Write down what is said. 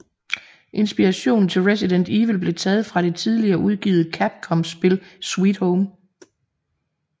Inspirationen til Resident Evil blev taget fra det tidligere udgivet Capcomspil Sweet Home